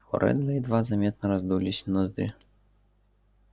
у реддла едва заметно раздулись ноздри